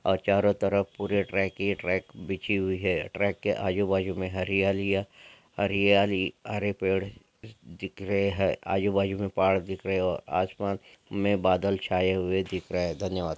और चारों तरफ पूरी ट्रैक ही ट्रैक बिछी हुई है ट्रैक के आजू बाजू में हरियाली या हरियाली हरे पेड़ दिख रहे हैं आजू बाजू मे पहाड़ दिख रहे हैं आसमान में बादल छाए हुए दिख रहे हैं धन्यवाद ।